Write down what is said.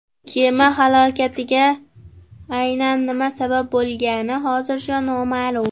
Kema halokatiga aynan nima sabab bo‘lgani hozircha noma’lum.